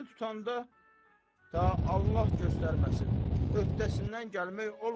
Tutması tutanda ta Allah göstərməsin, öhdəsindən gəlmək olmur.